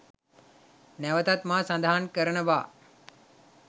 නැවතත් මා සඳහන් කරනවා.